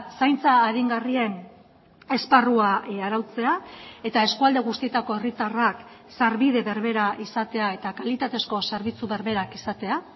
zaintza aringarrien esparrua arautzea eta eskualde guztietako herritarrak sarbide berbera izatea eta kalitatezko zerbitzu berberak izatea